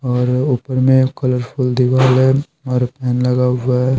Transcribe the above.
और ऊपर में कलरफुल दीवार हैऔर पैन लगा हुआ है।